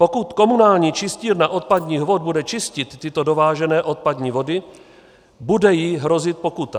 Pokud komunální čistírna odpadních vod bude čistit tyto dovážené odpadní vody, bude jí hrozit pokuta.